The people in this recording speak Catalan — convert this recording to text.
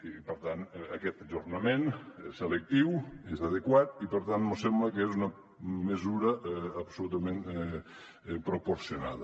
i per tant aquest ajornament és selectiu és adequat i per tant mos sembla que és una mesura absolutament proporcionada